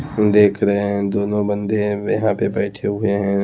हम देख रहे हैं दोनों बंदे पे बैठे हुए हैं।